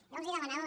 jo els demanava